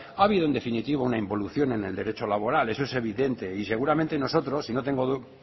ha habido en definitiva una involución en el derecho laboral eso es evidente y seguramente nosotros y